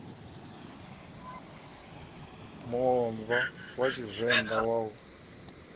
muomva wa tshivenḓa wa u